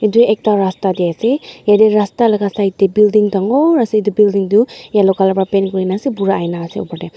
edu ekta rasta tae ase yatae rasta laka side tae building dangoor ase edu building tu yellow colour pra paint kurina ase .]